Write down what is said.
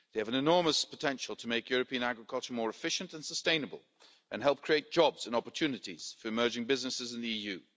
EU. They have an enormous potential to make European agriculture more efficient and sustainable and help create jobs and opportunities for emerging businesses in the